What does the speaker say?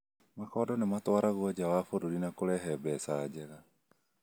Makondo nĩ matwaragwo nja wa burũri na kũrehe mbeca njega.